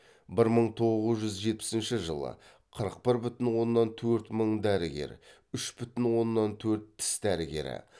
бір мың тоғыз жүз жетпісінші жылы қырық бір бүтін оннан төрт мың дәрігер үш бүтін оннан төрт тіс дәрігері